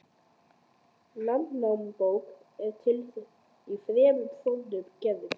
Landnámabók er til í þremur fornum gerðum.